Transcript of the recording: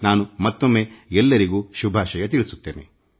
ನಾನು ಮತ್ತೊಮ್ಮೆ ಎಲ್ಲರಿಗೂ ಶುಭಾಶಯಗಳನ್ನು ಸಲ್ಲಿಸುತ್ತೇನೆ